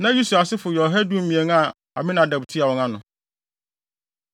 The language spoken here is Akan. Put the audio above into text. Na Usiel asefo yɛ ɔha ne dumien (112) a Aminadab tua wɔn ano.